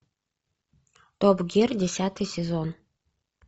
топ гир десятый сезон